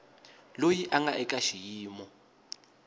loyi a nga eka xiyimo